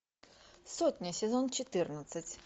сотня сезон четырнадцать